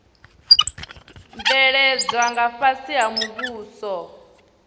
bveledzwa nga fhasi ha muhumbulo